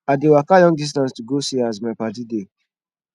i dey waka long distance to go see as my paddy dey